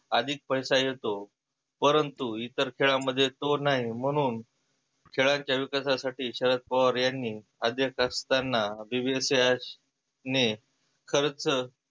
आधिक पैसा येतो परंतु इतर खेळामध्ये तो नाही म्हणून खेळांच्या विकासा साठी शरद पवार यांनी अध्यक्ष असताना यास ने खर्च